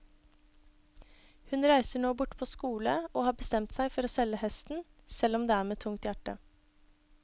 Hun reiser nå bort på skole og har bestemt seg for å selge hesten, selv om det er med tungt hjerte.